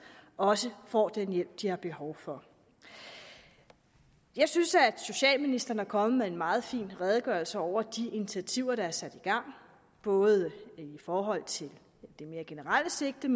også får den hjælp de har behov for jeg synes at socialministeren er kommet med en meget fin redegørelse over de initiativer der er sat i gang både i forhold til det mere generelle sigte